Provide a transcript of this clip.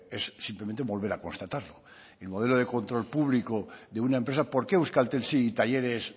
es simplemente volver a constatarlo el modelo de control público de una empresa por qué euskaltel sí y talleres